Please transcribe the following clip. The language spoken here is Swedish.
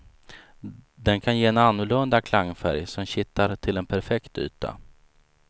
Den kan ge en annorlunda klangfärg som kittar till en perfekt yta.